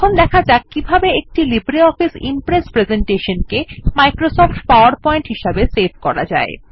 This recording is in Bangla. এখন শেখা যাক কিভাবে একটি LibreOffice Impress presentation Microsoft PowerPoint হিসাবে সেভ করা যায়